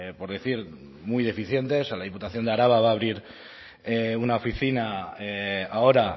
por decir muy deficiente o sea la diputación de araba va a abrir una oficina ahora